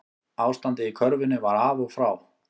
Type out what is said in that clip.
Ástandið í körfunni var af og frá